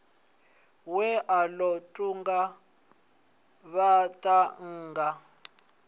we a ḓo kunga vhaṱhannga